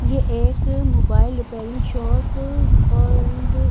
ये एक mobile repairing shop और--